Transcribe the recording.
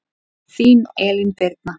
Þín Elín Birna.